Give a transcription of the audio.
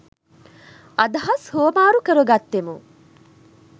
අදහස් හුවමාරු කර ගත්තෙමු.